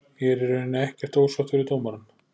Ég er í rauninni ekkert ósáttur við dómarann.